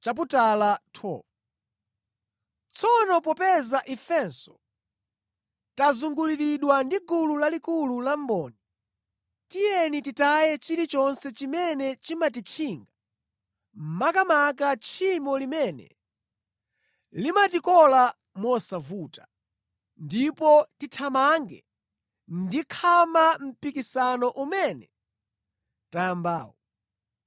Tsono popeza ifenso tazunguliridwa ndi gulu lalikulu la mboni, tiyeni titaye chilichonse chimene chimatitchinga, makamaka tchimo limene limatikola mosavuta, ndipo tithamange ndi khama mpikisano umene tayambawu.